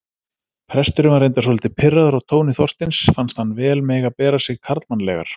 Presturinn var reyndar svolítið pirraður á tóni Þorsteins, fannst hann vel mega bera sig karlmannlegar.